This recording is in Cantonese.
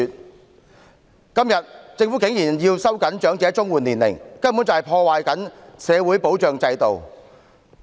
政府今天竟然要收緊長者綜援年齡，根本是破壞社會保障制度。